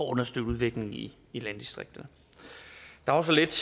understøtte udviklingen i i landdistrikterne der var så lidt